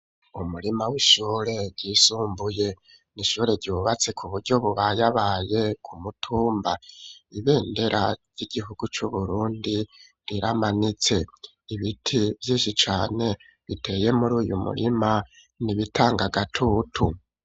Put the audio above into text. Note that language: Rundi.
Umurima w'ishure, ryisumbuye; ni ishure yubatse, ku buryo bubayabaye, ku mutumba; ibendera ry'igihugu, c'Uburundi, riramanitse; ibiti vyinshi cane, biteye muri uyu murima, ni ibitanga agatutu.